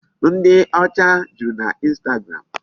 Ndị ọcha juru naInstagram.